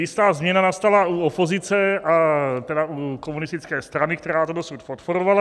Jistá změna nastala u opozice, a tedy u komunistické strany, která to dosud podporovala.